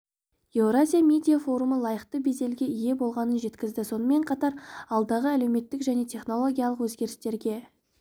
еуразия медиа форумы лайықты беделге ие болғанын жеткізді сонымен қатар алдағы әлеуметтік және технологиялық өзгерістерге